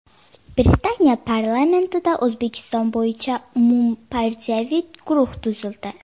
Britaniya parlamentida O‘zbekiston bo‘yicha umumpartiyaviy guruh tuzildi.